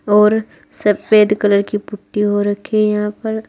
और सफेद कलर की पुट्टी हो रखी है यहां पर।